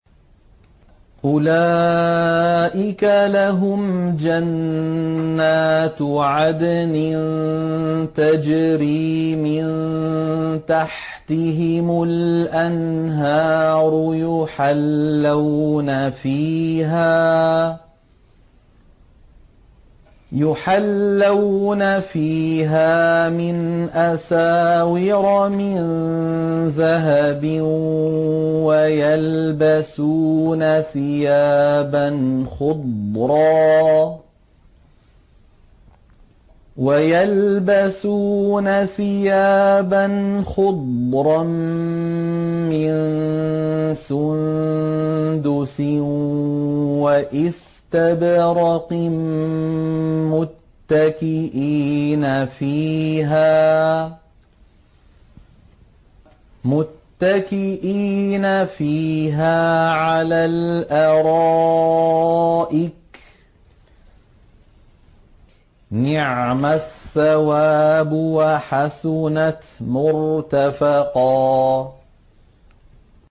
أُولَٰئِكَ لَهُمْ جَنَّاتُ عَدْنٍ تَجْرِي مِن تَحْتِهِمُ الْأَنْهَارُ يُحَلَّوْنَ فِيهَا مِنْ أَسَاوِرَ مِن ذَهَبٍ وَيَلْبَسُونَ ثِيَابًا خُضْرًا مِّن سُندُسٍ وَإِسْتَبْرَقٍ مُّتَّكِئِينَ فِيهَا عَلَى الْأَرَائِكِ ۚ نِعْمَ الثَّوَابُ وَحَسُنَتْ مُرْتَفَقًا